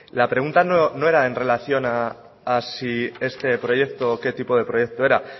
la pregunta no era en relación a si este proyecto o qué tipo de proyecto era